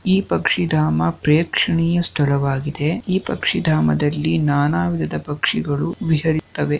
ಈ ಪಕ್ಷಿದಾಮ ಪ್ರೇಕ್ಷಣಿಯ ಸ್ಥಳವಾಗಿದೆ ಈ ಪಕ್ಷಿದಾಮದಲ್ಲಿ ನಾನಾ ವಿಧದ ಪಕ್ಷಿಗಳು ವಿಹರಿಯುತ್ತವೆ.